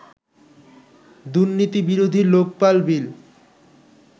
দুর্নীতি বিরোধী লোকপাল বিল